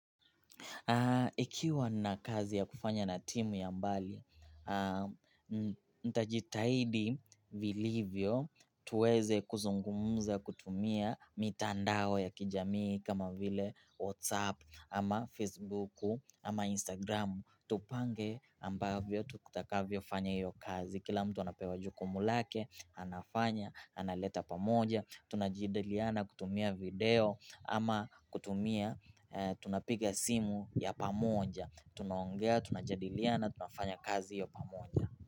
Ikiwa na kazi ya kufanya na timu ya mbali, nitajitahidi vilivyo tuweze kuzungumza kutumia mitandao ya kijamii kama vile WhatsApp ama Facebooku ama Instagramu. Tupange ambavyo tutakavyo fanya hiyo kazi Kila mtu anapewa jukumu lake, anafanya, analeta pamoja tunajadiliana kutumia video ama kutumia tunapiga simu ya pamoja tunaongea, tunajadiliana, tunafanya kazi hiyo pamoja.